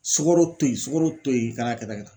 Sukaro to yen, sukaro to yen , ka na kɛ tan, kɛ tan, kɛ tan